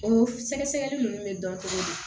O sɛgɛsɛgɛli nunnu bɛ dɔn cogo di